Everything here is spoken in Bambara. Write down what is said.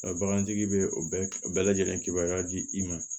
Bagantigi bɛ o bɛɛ lajɛlen kibaruya di i ma